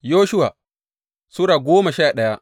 Yoshuwa Sura goma sha daya